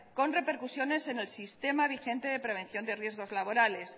con repercusiones en el sistema vigente de prevención de riesgos laborales